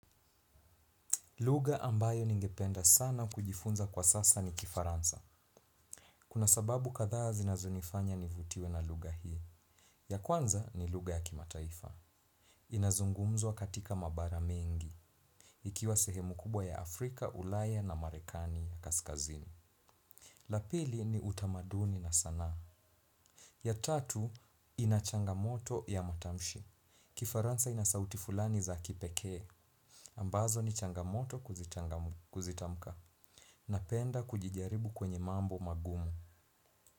Lugha ambayo ningependa sana kujifunza kwa sasa ni kifaransa. Kuna sababu kathaa zinazonifanya nivutiwe na lugha hii. Ya kwanza ni lugha ya kimataifa. Inazungumzwa katika mabara mengi. Ikiwa sehemu kubwa ya Afrika, Ulaya na Marekani ya Kaskazini. La pili ni utamaduni na sanaa. Ya tatu ina changamoto ya matamshi. Kifaransa ina sauti fulani za kipekee. Ambazo ni changamoto kuzitamka. Napenda kujijaribu kwenye mambo magumu.